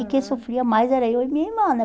E quem sofria mais era eu e minha irmã, né?